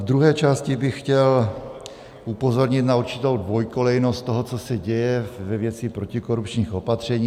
V druhé části bych chtěl upozornit na určitou dvojkolejnost toho, co se děje ve věci protikorupčních opatření.